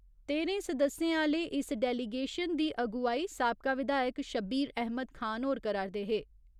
तेह्‌रें सदस्यें आह्‌ले इस डेलीगेशन दी अगुवाई साबका विधायक शब्बीर अहमद खान होर करा'रदे हे।